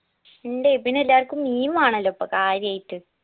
ഇണ്ട് പിന്നെ എല്ലാര്ക്കും മീൻ വേണല്ലോ ഇപ്പോ കാര്യായിട്ട്